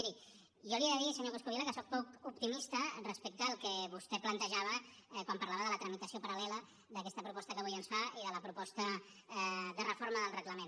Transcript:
miri jo li he de dir senyor coscubiela que soc poc optimista respecte al que vostè plantejava quan parlava de la tramitació paral·lela d’aquesta proposta que avui ens fa i de la proposta de reforma del reglament